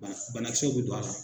Wala bana kisɛw be don a la.